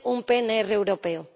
de tener un PNR europeo.